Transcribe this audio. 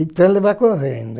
Então ele vai correndo.